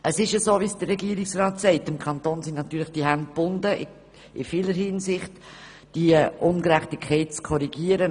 Es ist so, wie es der Regierungsrat sagt: Dem Kanton sind die Hände in vieler Hinsicht gebunden, um diese Ungerechtigkeit zu korrigieren.